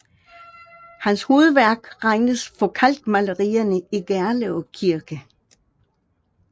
Hans hovedværk regnes for kalkmalerierne i Gerlev Kirke